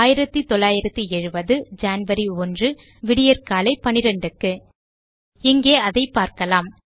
1970 January 1 விடியற்காலை 12க்கு இங்கே அதை பார்க்கலாம்